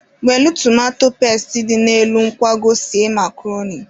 Welụ tomato pesti dị n'elu nkwago sie makroni.